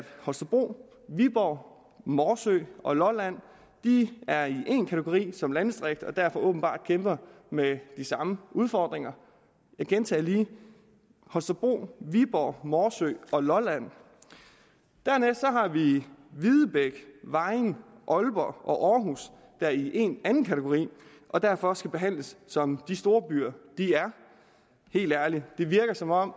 holstebro viborg morsø og lolland er i én kategori som landdistrikt og derfor åbenbart kæmper med de samme udfordringer jeg gentager lige holstebro viborg morsø og lolland dernæst har vi videbæk vejen aalborg og aarhus der er i en anden kategori og derfor skal behandles som de storbyer de er helt ærligt det virker som om